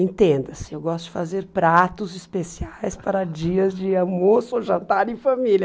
Entenda-se, eu gosto de fazer pratos especiais para dias de almoço, jantar em família.